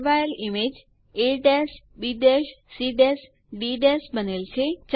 ફેરવાયેલ image ABCD બનેલ છે